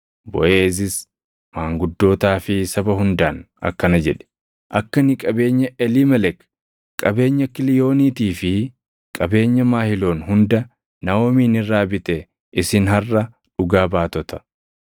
Boʼeezis maanguddootaa fi saba hundaan akkana jedhe; “Akka ani qabeenya Eliimelek, qabeenya Kiliiyooniitii fi qabeenya Mahiloon hunda Naaʼomiin irraa bite isin harʼa dhugaa baatota.